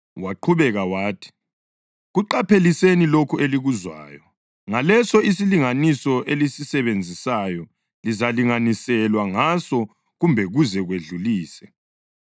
Waqhubeka wathi, “Kuqapheliseni lokho elikuzwayo. Ngaleso isilinganiso elisisebenzisayo lizalinganiselwa ngaso kumbe kuze kwedlulise.